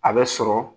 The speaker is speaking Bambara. A bɛ sɔrɔ